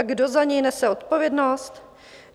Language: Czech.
A kdo za něj nese odpovědnost?